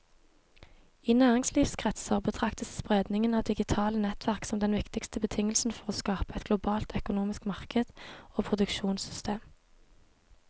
I næringslivskretser betraktes spredningen av digitale nettverk som den viktigste betingelsen for å skape et globalt økonomisk marked og produksjonssystem.